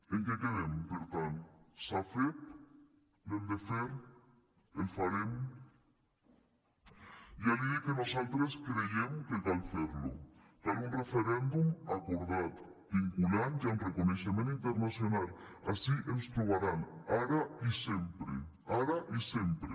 en què quedem per tant s’ha fet l’hem de fer el farem ja li dic que nosaltres creiem que cal fer lo cal un referèndum acordat vinculant i amb reconeixement internacional ací ens trobaran ara i sempre ara i sempre